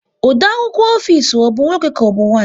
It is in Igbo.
Ode akwụkwọ ofisi ọ bụ nwoke ka ọbụ nwanyị?